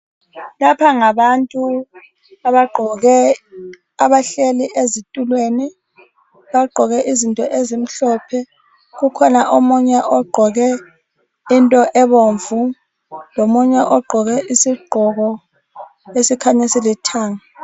Lapha ngabantu abahleli ezitulweni abagqoke izinto ezimhlophe, kukhona omunye ogqoke into ebomvu lomunye ogqoke isigqoko esikhanya silithanga.